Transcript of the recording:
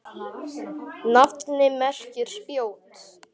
Nafnið merkir spjót.